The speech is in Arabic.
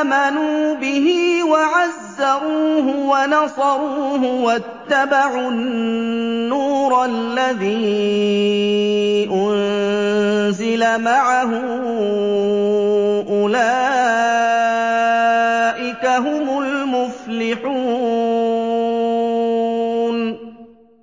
آمَنُوا بِهِ وَعَزَّرُوهُ وَنَصَرُوهُ وَاتَّبَعُوا النُّورَ الَّذِي أُنزِلَ مَعَهُ ۙ أُولَٰئِكَ هُمُ الْمُفْلِحُونَ